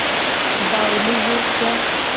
बावली हो क्या